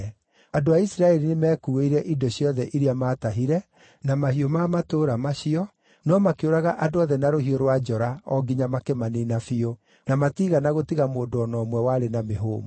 Andũ a Isiraeli nĩmekuuĩire indo ciothe iria maatahire, na mahiũ ma matũũra macio, no makĩũraga andũ othe na rũhiũ rwa njora o nginya makĩmaniina biũ, na matiigana gũtiga mũndũ o na ũmwe warĩ na mĩhũmũ.